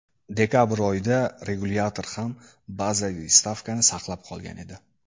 Dekabr oyida regulyator ham bazaviy stavkani saqlab qolgan edi.